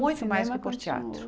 Muito mais que por teatro.